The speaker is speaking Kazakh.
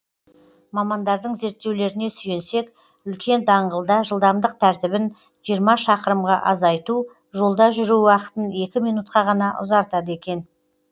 мамандардың зерттеулеріне сүйенсек үлкен даңғылда жылдамдық тәртібін жиырма шақырымға азайту жолда жүру уақытын екі минутқа ғана ұзартады екен